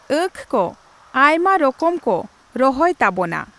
ᱟᱺᱠᱷ ᱠᱚ ᱟᱭᱢᱟ ᱨᱚᱠᱚᱢ ᱠᱚ ᱨᱚᱦᱚᱭ ᱛᱟᱵᱚᱱᱟ ᱾